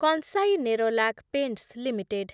କଂସାଇ Nerolac paints limited